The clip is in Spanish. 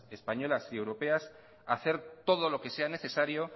españolas y europeas hacer todo lo que sea necesario